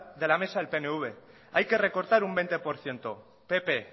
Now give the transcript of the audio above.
de la mesa el pnv hay que recortar un veinte por ciento pp